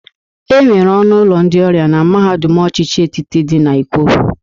E nwere ọnụ ụlọ ndị ọrịa na mahadum ọchịchị etiti dị na Ikwo.